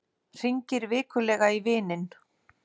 Hringir vikulega í vininn